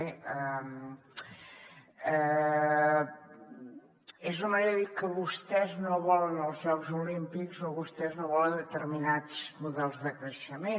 bé és una manera de dir que vostès no volen els jocs olímpics o vostès no volen determinats models de creixement